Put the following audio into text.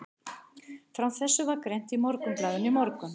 Frá þessu var greint í Morgunblaðinu í morgun.